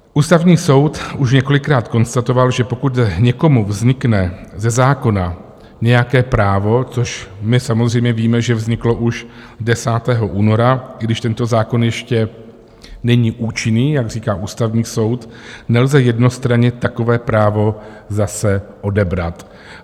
Ústavní soud už několikrát konstatoval, že pokud někomu vznikne ze zákona nějaké právo, což my samozřejmě víme, že vzniklo už 10. února, i když tento zákon ještě není účinný, jak říká Ústavní soud, nelze jednostranně takové právo zase odebrat.